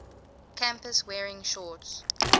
campus wearing shorts